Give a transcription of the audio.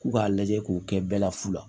K'u k'a lajɛ k'u kɛ bɛɛ la fu la